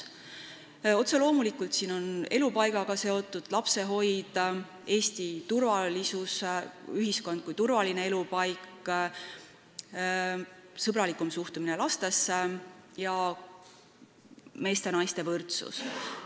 Otse loomulikult on siin kirjas elupaiga soetamine, lapsehoid, Eesti ühiskond kui turvaline elupaik, sõbralikum suhtumine lastesse ning meeste ja naiste võrdsus.